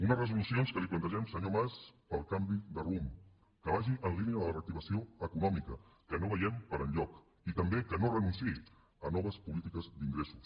unes resolucions que li plantegem senyor mas per al canvi de rumb que vagi en línia de la reactivació econòmica que no veiem per enlloc i també que no renunciï a noves polítiques d’ingressos